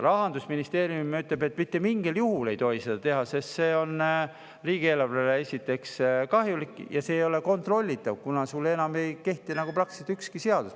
Rahandusministeerium ütleb, et mitte mingil juhul ei tohi seda teha, sest see on riigieelarvele kahjulik ja see ei ole kontrollitav, kuna nendele siis ei kehti enam praktiliselt ükski seadus.